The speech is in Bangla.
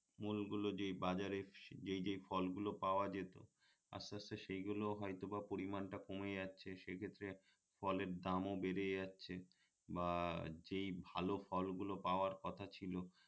মূলগুলো যেই বাজারে যেই যেই ফলগুলো পাওয়া যেত আস্তে আস্তে সেগুলোও হয়তোবা পরিমাণটা কমে যাচ্ছে সেক্ষেত্রে ফলের দামও বেড়ে যাচ্ছে বা যেই ভালো ফলগুলো পাওয়ার কথা ছিল